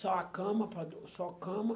Só a cama, só cama.